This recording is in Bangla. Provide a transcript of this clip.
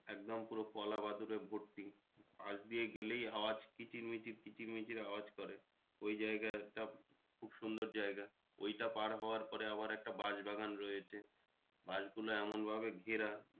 একদম পুরো কলা বাঁদুরে ভর্তি। পাশ দিয়ে গেলেই আওয়াজ কিচির মিচির কিচির মিচির আওয়াজ করে। ওই জায়গাটা খুব সুন্দর জায়গা ওইটা পার হওয়ার পরে আবার একটা বাঁশ বাগান রয়েছে বাঁশগুলো এমন ভাবে ঘেরা